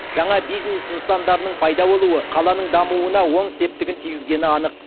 жаңа бизнес нысандарының пайда болуы қаланың дамуына оң септігін тигізгені анық